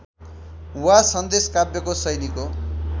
वा सन्देशकाव्यको शैलीको